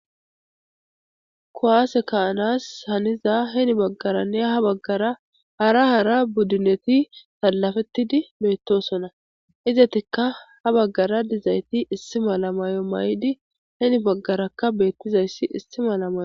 kuwase ka'anas haniza heni baggaranne ha baggara hara hara buddineti sallafettidi beettosona izetikka ha baggara dizayti issi mala may'o mayidi heni baggarakka beettizayssi issi mala may'o